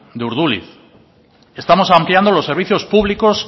de urduliz estamos ampliando los servicios públicos